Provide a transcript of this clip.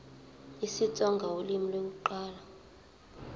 isitsonga ulimi lokuqala